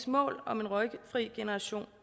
mål om en røgfri generation